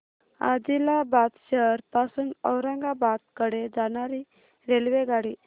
आदिलाबाद शहर पासून औरंगाबाद कडे जाणारी रेल्वेगाडी